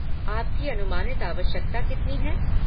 आपकी अनुमानित आवश्यकता कितनी है?